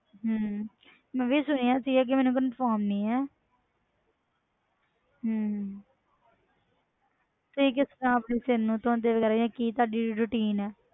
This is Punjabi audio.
ਹਮ ਮੈਂ ਵੀ ਸੁਣਿਆ ਸੀਗਾ ਕਿ ਮੈਨੂੰ confirm ਨਹੀਂ ਹੈ ਹਮ ਤੁਸੀਂ ਕਿਸ ਤਰ੍ਹਾਂ ਆਪਣੇ ਸਿਰ ਨੂੰ ਧੋਂਦੇ ਵਗ਼ੈਰਾ ਜਾਂ ਕੀ ਤੁਹਾਡੀ routine ਹੈ?